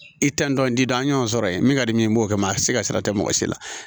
I tɛ n dɔn n t'i da an y'o sɔrɔ yen min ka di min ye n b'o kɛ a ti se ka sira tɛ mɔgɔ si la